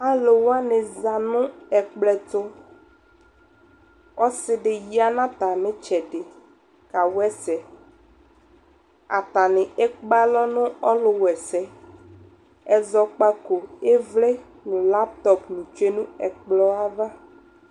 Alʋ wanɩ za nʋ ɛkplɔ ɛtʋ Ɔsɩ dɩ ya nʋ atamɩ ɩtsɛdɩ kawa ɛsɛ Atanɩ ekpe alɔ nʋ ɔlʋwa ɛsɛ Ɛzɔkpako, ɩvlɩ nʋ laptɔp tsue nʋ ɛkplɔ yɛ ava